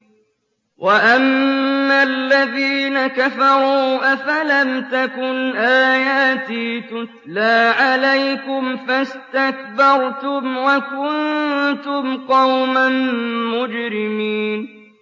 وَأَمَّا الَّذِينَ كَفَرُوا أَفَلَمْ تَكُنْ آيَاتِي تُتْلَىٰ عَلَيْكُمْ فَاسْتَكْبَرْتُمْ وَكُنتُمْ قَوْمًا مُّجْرِمِينَ